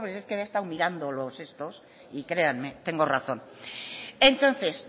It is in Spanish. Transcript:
es que yo había estado mirando los estos y créanme tengo razón entonces